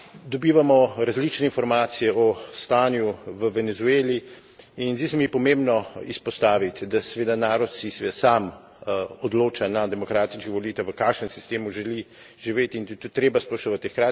Dobivamo različne informacije o stanju v Venezueli, in zdi se mi pomembno izpostaviti, da, seveda, narod se seveda sam odloča na demokratičnih volitvah, v kakšnem sistemu želi živeti, in je to treba spoštovati.